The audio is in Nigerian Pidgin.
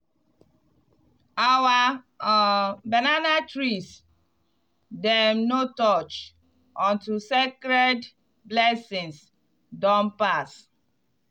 our um banana trees dem no touch until sacred blessings don pass.